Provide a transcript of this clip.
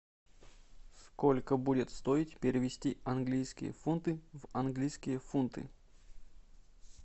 сколько будет стоить перевести английские фунты в английские фунты